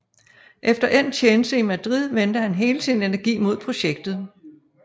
Efter endt tjeneste i Madrid vendte han hele sin energi mod projektet